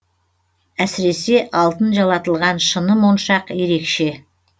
әсіресе алтын жалатылған шыны моншақ ерекше